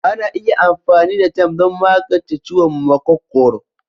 Ana iya amfani da "thyme" don magance ciwon makogwaro.